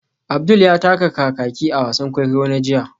Abdul ya taka kakaki a wasan kwaikwayo na jiya